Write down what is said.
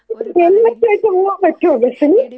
Helmet വെച്ച് പോവാൻ പറ്റോ ബസില്?